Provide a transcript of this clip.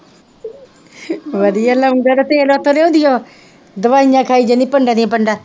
ਵਧੀਆ ਲੌਂਗਾਂ ਦਾ ਤੇਲ ਉੱਥੋ ਲਿਆਉਂਦੀ ਉਹ ਦਵਾਈਆਂ ਖਾਈ ਜਾਂਦੀ ਹੈ ਪੰਡਾਂ ਦੀਆ ਪੰਡਾਂ,